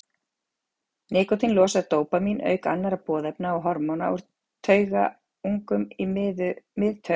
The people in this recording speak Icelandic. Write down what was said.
Nikótín losar dópamín auk annarra boðefna og hormóna úr taugungum í miðtaugakerfinu.